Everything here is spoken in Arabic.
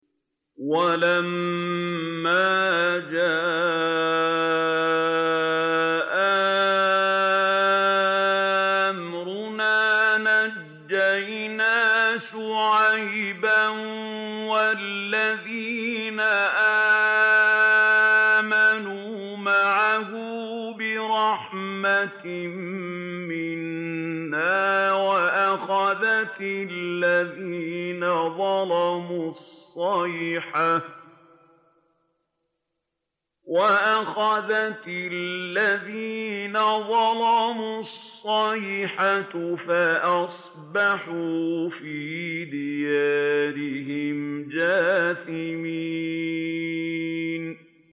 وَلَمَّا جَاءَ أَمْرُنَا نَجَّيْنَا شُعَيْبًا وَالَّذِينَ آمَنُوا مَعَهُ بِرَحْمَةٍ مِّنَّا وَأَخَذَتِ الَّذِينَ ظَلَمُوا الصَّيْحَةُ فَأَصْبَحُوا فِي دِيَارِهِمْ جَاثِمِينَ